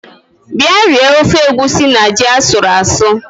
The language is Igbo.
Bia rie ofe egusi na ji asuru asụ